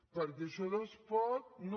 perquè això de es pot no